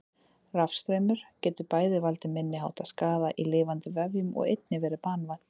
Rafstraumur getur bæði valdið minniháttar skaða í lifandi vefjum og einnig verið banvænn.